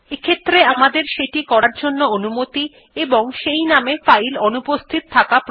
এক্ষেত্রে আমাদের সেটি করার অনুমতি থাকতে হবে ও সেই নামে ফাইল অনুপস্থিত থাকতে হবে